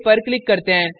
अब सेव पर क्लिक करते हैं